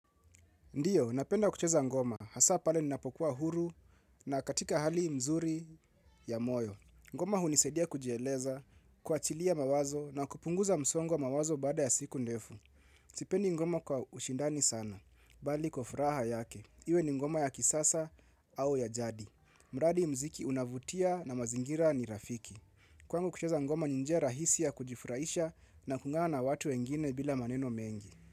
Ndiyo, napenda kucheza ngoma. Hasa pale ninapokuwa huru na katika hali mzuri ya moyo. Ngoma hunisaidia kujieleza, kuachilia mawazo na kupunguza msongo wa mawazo baada ya siku ndefu. Sipendi ngoma kwa ushindani sana, bali kwa furaha yake. Iwe ni ngoma ya kisasa au ya jadi. Mradi mziki unavutia na mazingira ni rafiki. Kwangu kucheza ngoma ni njia rahisi ya kujifurahisha na kuungana na watu wengine bila maneno mengi.